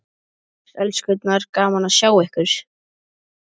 Bless elskurnar, gaman að sjá ykkur!